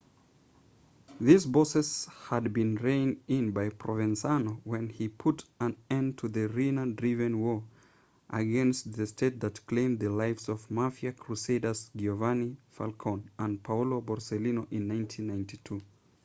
these bosses had been reined in by provenzano when he put an end to the riina-driven war against the state that claimed the lives of mafia crusaders giovanni falcone and paolo borsellino in 1992